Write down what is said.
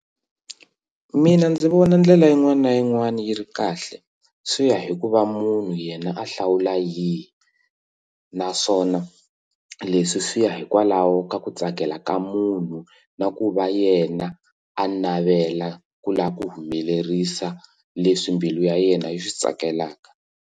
Mina ndzi vona ndlela yin'wana na yin'wana yi ri kahle swi ya hi ku va munhu yena a hlawula yihi naswona leswi swi ya hikwalaho ka ku tsakela ka munhu na ku va yena a navela ku lava ku humelerisa leswi mbilu ya yena yi swi tsakelaka.